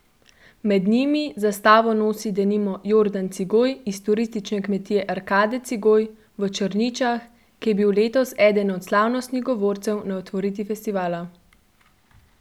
Med njimi zastavo nosi denimo Jordan Cigoj iz turistične kmetije Arkade Cigoj v Črničah, ki je bil letos eden od slavnostnih govorcev na otvoritvi festivala.